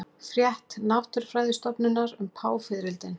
Frétt Náttúrufræðistofnunar um páfiðrildin